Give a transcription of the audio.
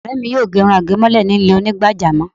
Ọ̀rẹ́ mi yóò ge irun àgémọ́lẹ̀ ní ilé Onígbàjámọ̀